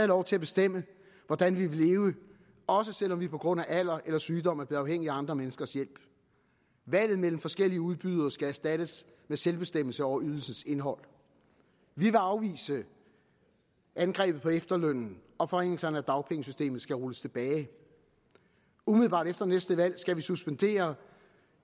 lov til at bestemme hvordan vi vil leve også selv om vi på grund af alder eller sygdom er blevet afhængige af andre menneskers hjælp valget mellem forskellige udbydere skal erstattes med selvbestemmelse over ydelsens indhold vi vil afvise angrebet på efterlønnen og forringelserne af dagpengesystemet skal rulles tilbage umiddelbart efter næste valg skal vi suspendere